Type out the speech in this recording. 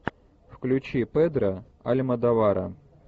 включи педро альмодовара